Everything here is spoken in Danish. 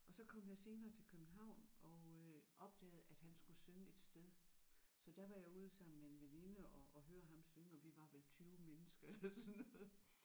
Og så kom jeg senere til København og øh opdagede at han skulle synge et sted så der var jeg ude sammen med en veninde og og høre ham synge og vi var vel 20 mennesker eller sådan noget